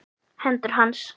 Hendur hans.